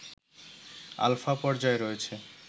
alpha পর্যায়ে রয়েছে